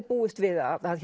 búist við að